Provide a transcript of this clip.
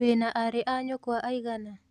Wĩna arĩ a nyũkwa aigana?